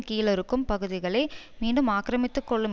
கீழ் இருக்கும் பகுதிகளை மீண்டும் ஆக்கிரமித்துக்கொள்ளும்